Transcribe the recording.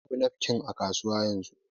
Babu nafkin a kasuwa yanzu